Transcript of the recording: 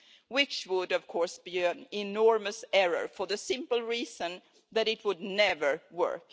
which would of course be an enormous error for the simple reason that it would never work.